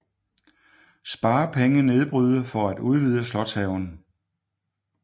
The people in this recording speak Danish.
Sparepenge nedbryde for at udvide slotshaven